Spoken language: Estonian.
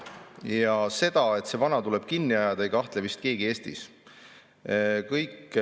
Ja selles, et see vana tuleb kinni ajada, ei kahtle vist keegi Eestis.